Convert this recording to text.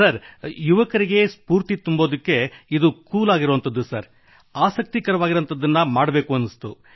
sir ಯುವಕರಿಗೆ ಸ್ಫೂರ್ತಿ ತುಂಬಲು ಇಂದು ಕೂಲ್ ಆಗಿರುವಂಥದ್ದು ಆಸಕ್ತಿಕರವಾಗಿರುವಂಥದ್ದು ಬೇಕು